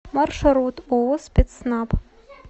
маршрут ооо спецснаб